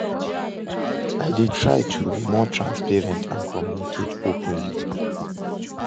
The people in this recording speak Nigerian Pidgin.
I dey try to be more transparent and communicate openly.